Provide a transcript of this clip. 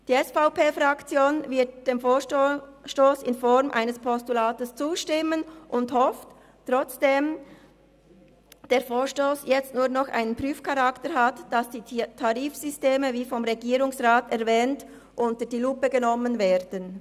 Die SVP-Fraktion wird dem Vorstoss in Form eines Postulats zustimmen und hofft, obwohl der Vorstoss jetzt nur noch einen Prüfcharakter hat, dass die Tarifsysteme, wie vom Regierungsrat erwähnt, unter die Lupe genommen werden.